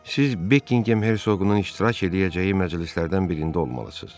Siz Bekingham Herzoqunun iştirak eləyəcəyi məclislərdən birində olmalısız.